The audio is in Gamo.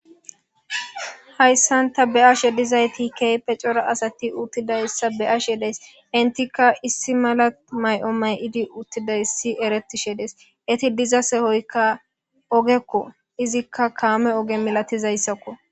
Hayssanta be7ashe dizayti keype cora asati uttidayssa beashe des intika issi mala may7o may7idi uttidayssi erettishe dees eti diza sehoykka ogekko izikka kaame oge milatizayssakko